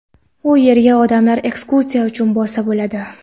U yerga odamlar ekskursiya uchun borsa bo‘ladi.